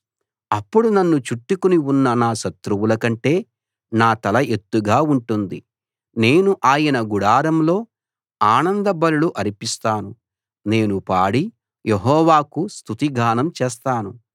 అప్పుడు నన్ను చుట్టుకుని ఉన్న నా శత్రువుల కంటే నా తల ఎత్తుగా ఉంటుంది నేను ఆయన గుడారంలో ఆనంద బలులు అర్పిస్తాను నేను పాడి యెహోవాకు స్తుతిగానం చేస్తాను